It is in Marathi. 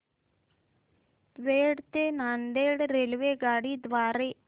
दौंड ते नांदेड रेल्वे द्वारे